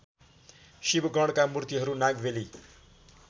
शिवगणका मूर्तिहरू नागबेली